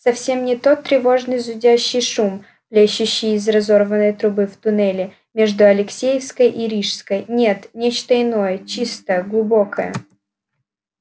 совсем не тот тревожный зудящий шум плещущий из разорванной трубы в туннеле между алексеевской и рижской нет нечто иное чистое глубокое